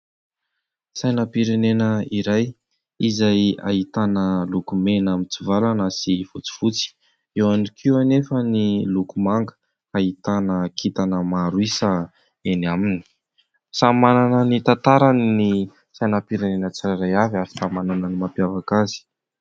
Sainam-pirenena iray izay ahitana loko mena mitsivalana sy fotsifotsy, eo ihany koa anefa ny loko manga ahitana kintana maro isa eny aminy, samy manana ny tantarany ny sainam-pirenena tsirairay avy ary samy manana ny mampiavaka azy.